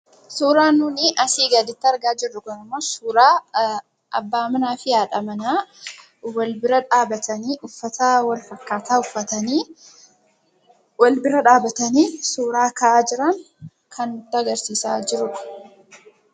Suuraan nuti asii gaditti argaa jirru kun immoo suuraa abbaa manaa fi haadha manaa wal bira dhaabbatanii uffata walfakkaataa uffatanii suuraa ka'aa jiran kan nutti agarsiisaa jirudha.